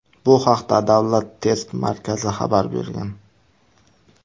Bu haqda Davlat test markazi xabar bergan .